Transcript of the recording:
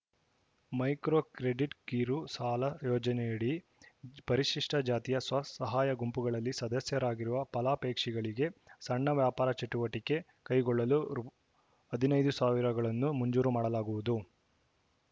micro ಕ್ರೆಡಿಟ್‌ಕಿರು ಸಾಲ ಯೋಜನೆಯಡಿ ಪರಿಶಿಷ್ಟಜಾತಿಯ ಸ್ವಸಹಾಯ ಗುಂಪುಗಳಲ್ಲಿ ಸದಸ್ಯರಾಗಿರುವ ಫಲಾಪೇಕ್ಷಿಗಳಿಗೆ ಸಣ್ಣ ವ್ಯಾಪಾರ ಚಟುವಟಿಕೆ ಕೈಗೊಳ್ಳಲು ರು ಹದಿನೈದು ಸಾವಿರಗಳನ್ನು ಮಂಜೂರು ಮಾಡಲಾಗುವುದು